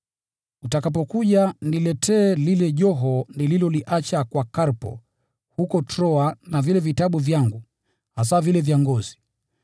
Utakapokuja, niletee lile joho nililoliacha kwa Karpo huko Troa na vile vitabu vyangu, hasa vile vya ngozi.